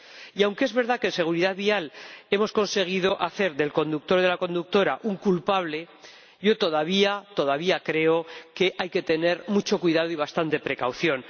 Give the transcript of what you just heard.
Y aunque es verdad que en seguridad vial hemos conseguido hacer del conductor o de la conductora un culpable, yo todavía creo que hay que tener mucho cuidado y bastante precaución.